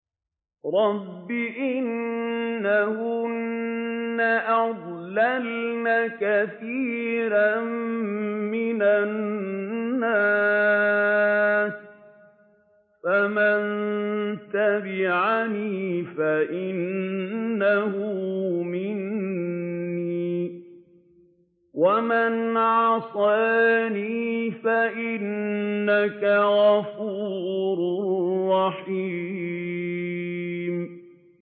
رَبِّ إِنَّهُنَّ أَضْلَلْنَ كَثِيرًا مِّنَ النَّاسِ ۖ فَمَن تَبِعَنِي فَإِنَّهُ مِنِّي ۖ وَمَنْ عَصَانِي فَإِنَّكَ غَفُورٌ رَّحِيمٌ